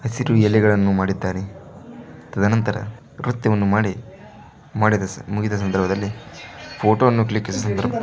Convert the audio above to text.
ಹಸಿರು ಎಲೆಗಳನ್ನು ಮಾಡಿದ್ದಾರೆ ತದನಂತರ ನೃತ್ಯವನ್ನು ಮಾಡಿ ಮುಗಿದ ಸಂದರ್ಭದಲ್ಲಿ ಫೋಟೋವನ್ನು ಕ್ಲಿಕ್ಕಿಸಿ--